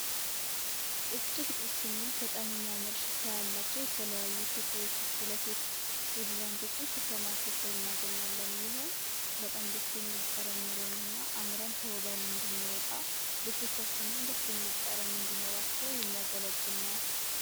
እጅግ ደስ ሚል በጣም የሚያምር ሽታያላቸው የተለያዩ ሽቶዎች እስፕለሾች ዱድራንቶችን ሶፐርማርኬት ላይ እናገኛለን። ይህም በጣም ደስ የሚል ጠረን ኑሮን እና አምረን ተወበን እንነወጣ ልብቶቻችንም ደስት የሚል ጠረን እንዲኖራቸው የሚያገለግል ነው።